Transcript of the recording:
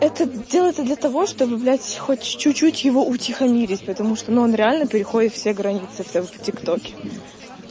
это делается для того чтобы блять хоть чуть-чуть его утихомирить потому что ну он реально переходит все границы в том тиктоке